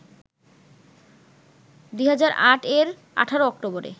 ২০০৮ এর ১৮ অক্টোবরে